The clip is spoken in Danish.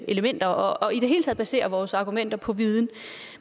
elementer og i det hele taget baserer vores argumenter på viden